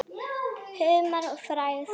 Humar og frægð?